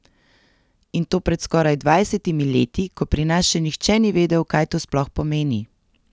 In to pred skoraj dvajsetimi leti, ko pri nas še nihče ni vedel, kaj to sploh pomeni.